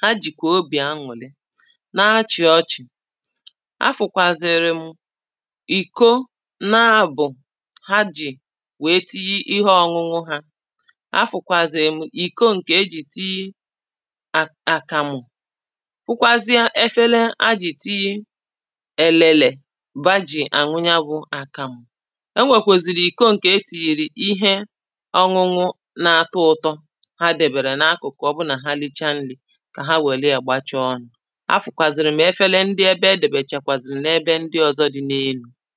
ha jìkwà obì aṅwụ̀lị̀ na-achị̀ ọchị̀. afụ̀kwàzìrì m [paues]ìko na abụ̀ọ ha ji wèe tiyi ihe ọ̀ṅụṅụ ha afụkwazìrì m ìko ǹkè ejì tiyi um àkàmụ̀ hụkwazìe efele a jì tiyi elele ha ji àṅu ya bụ àkàmụ̀.enwèkwèzìrì ìko ǹkè etìnyèrè ihe ọñụñụ na-atọ ụtọ ha dị̀bèrè n’akụ̀kụ̀ ọ bụrụ na ha richaa nri kà ha wèrè ya gbachaa ọnụ̇ afụ̀kwàzìrì m efele ndị ebe edòbèchàkwàzìrì n’ebe ndị ọzọ dị n’elu̇.